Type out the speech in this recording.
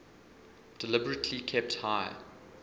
deliberately kept high